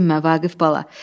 Heç dinmə Vaqif bala.